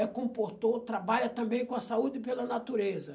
é comportou, trabalha também com a saúde e pela natureza.